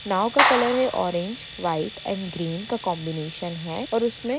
नाव का कलर है orange white and green का कॉम्बीनैशन और उसमे--